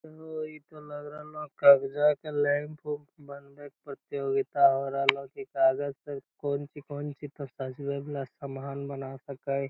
ओ ई तो लग रहलो कगजा के लैंप उम्प बनवे के प्रतियोगिता हो रहलो की कागज़ के कौन चीज कौन चीज़ त सजवे वाला सामान बना सक हई।